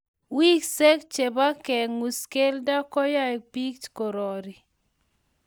Wiseek che bo kengus kelto koyoe biich kerori.